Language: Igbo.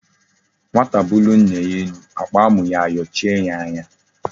Nwata bulie nna ya elu akpa amu ya ayochie ya anya